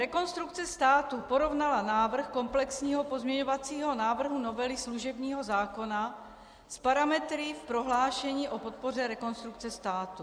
Rekonstrukce státu porovnala návrh komplexního pozměňovacího návrhu novely služebního zákona s parametry v prohlášení o podpoře Rekonstrukce státu.